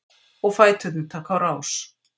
Og fæturnir taka á rás.